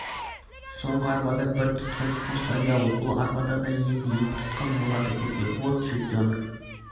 соңғы арбада бір тұтқын қос айдауыл бұл арбада да енді екі тұтқын болады көке вот чертенок